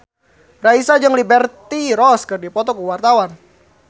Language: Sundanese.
Raisa jeung Liberty Ross keur dipoto ku wartawan